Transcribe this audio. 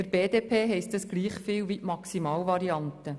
Für die BDP heisst das ebenso viel wie die Maximalvariante.